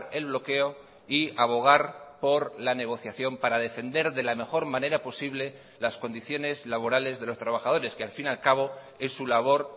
el bloqueo y abogar por la negociación para defender de la mejor manera posible las condiciones laborales de los trabajadores que al fin y al cabo es su labor